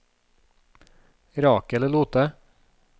Rakel Lothe